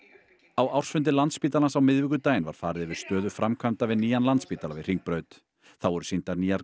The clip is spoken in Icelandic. á ársfundi Landspítalans á miðvikudaginn var farið yfir stöðu framkvæmda við nýjan Landspítala við Hringbraut þá voru sýndar nýjar